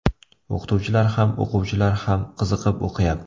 O‘qituvchilar ham, o‘quvchilar ham qiziqib o‘qiyapti.